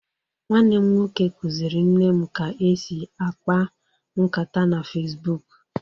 Nwanne m nwoke kuziri nne m ka esi ákpá nkàtá na Fesbuk